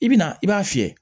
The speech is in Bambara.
I bi na i b'a fiyɛ